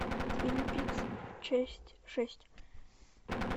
твин пикс часть шесть